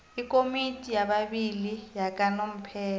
ikomiti yababili yakanomphela